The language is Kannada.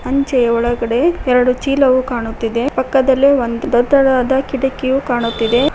ಅಂಚೆಯ ಒಳಗಡೆ ಎರಡು ಚೀಲವು ಕಾಣುತ್ತಿದೆ ಪಕ್ಕದಲ್ಲಿ ಒಂದು ದೊಡ್ಡದಾದ ಕಿಟಕಿಯು ಕಾಣುತ್ತಿದೆ.